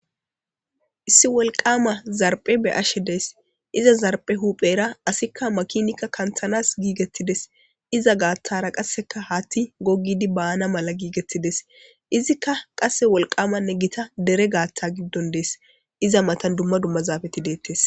Issi wolqama zarbe beyashe daysi iza zarbiya huphera asiyka makinayika kantanas gigettides. Pizza gathara qasi haththeyka banaw gigides. Izzikka wolqamanne gotta dere gathan gidon de'es izza mattan dumma dumma zapetidettes.